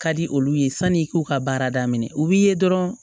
Ka di olu ye sanni i k'u ka baara daminɛ u b'i ye dɔrɔn